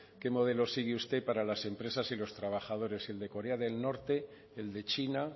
qué modelo sigue usted para las empresas y los trabajadores el de corea del norte el de china